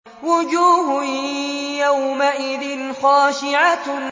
وُجُوهٌ يَوْمَئِذٍ خَاشِعَةٌ